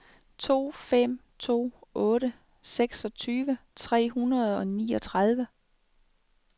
to fem to otte seksogtyve tre hundrede og niogtredive